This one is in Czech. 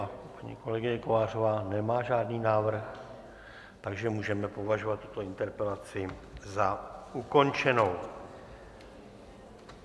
A kolegyně Kovářová nemá žádný návrh, takže můžeme považovat tuto interpelaci za ukončenou.